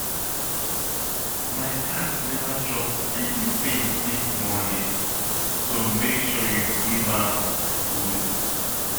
My cat never chop anything since morning so make sure you give am food